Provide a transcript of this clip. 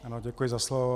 Ano, děkuji za slovo.